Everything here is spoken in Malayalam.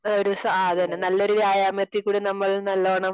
ഒരു സാധനം നല്ലൊരു വ്യായാമത്തിൽ കൂടി നമ്മൾ നല്ലോണം